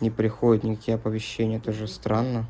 не приходит никакие оповещения тоже стран